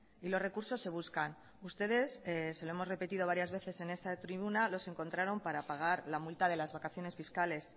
y los recursos se buscan ustedes se lo hemos repetido varias veces en esta tribuna los encontraron para pagar la multa de las vacaciones fiscales